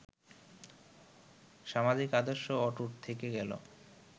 সামাজিক আদর্শ অটুট থেকে গেল